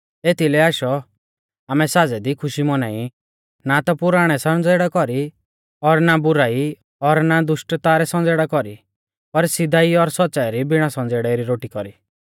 एथीलै आशौ आमै साज़ै दी खुशी मौनाई ना ता पुराणै संज़ेड़ै कौरी और ना बुराई और ना दुष्टता रै संज़ेड़ा कौरी पर सीधाई और सौच़्च़ाई री बिणा संज़ेड़ै री रोटी कौरी